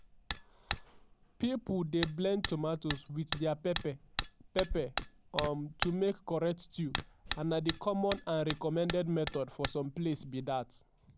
pipo dey blend tomatoes wit dia pepper pepper um to make correct stew and na di common and recommended method for some place be dat.